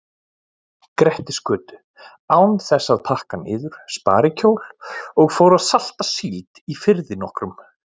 Grettisgötu án þess að pakka niður sparikjól og fór að salta síld í firði nokkrum.